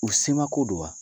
U semako don wa